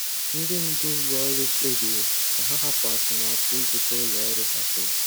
Ndị ndu ụlọ ọrụ kpebiri ka ha hapụ atụmatụ ịzụta ụlọ ọrụ ha tụrụ.